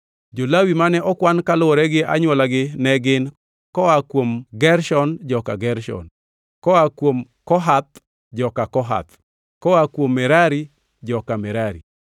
Jo-Lawi mane okwan kaluwore gi anywola ne gin: koa kuom Gershon, joka Gershon; koa kuom Kohath, joka Kohath; koa kuom Merari, joka Merari.